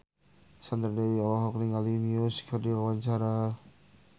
Sandra Dewi olohok ningali Muse keur diwawancara